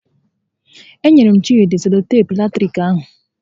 E nyere m Chịdị seloteepu latiriki ahụ